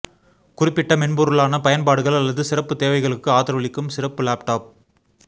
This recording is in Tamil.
குறிப்பிட்ட மென்பொருளான பயன்பாடுகள் அல்லது சிறப்புத் தேவைகளுக்கு ஆதரவளிக்கும் சிறப்பு லேப்டாப்